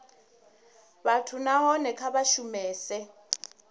vhathu nahone kha vha shumese